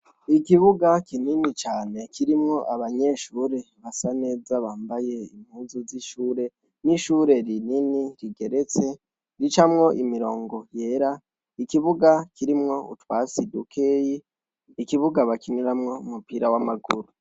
Ikibuga kinini cane kirimwo abanyeshure basa neza bambaye impuzu z' ishuri , n' ishuri rinini rigeretse, ricamwo imirongo yera, ikibuga kirimwo utwatsi dukeyi, ikibuga bakiniramwo umupira w' amaguru.